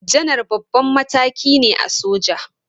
Janar babban mataki ne a soja.